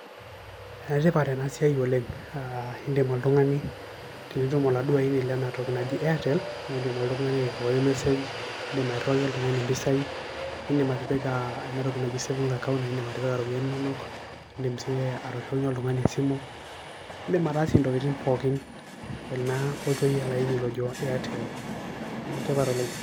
Enetipat ena siaai oleng, aah indim otungani piindung olaini lena toki naji airtel piindim oltungani airiwai message, indim aterewaki oltungani mpisai ,indim atipika enatoki naji saving account indim atipika mpisai inonok ,indim sii atoshokinye oltungani esimu ,indim ataasie ntokitin pookin naa tenkoitoi ele aini ojo airtel , enetipat Oleng.